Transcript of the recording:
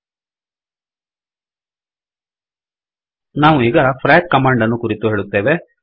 ಈಗ ನಾವು ಫ್ರಾಕ್ ಫ್ರಾಕ್ ಕಮಾಂಡ್ ಕುರಿತು ಹೇಳುತ್ತೇವೆ